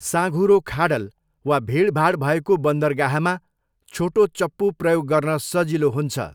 साँघुरो खाडल वा भिडभाड भएको बन्दरगाहमा छोटो चप्पु प्रयोग गर्न सजिलो हुन्छ।